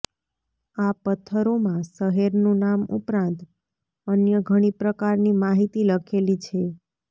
આ પથ્થરોમાં શહેરનું નામ ઉપરાંત અન્ય ઘણી પ્રકારની માહિતી લખેલી છે